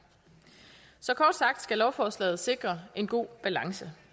så kort sagt skal lovforslaget sikre en god balance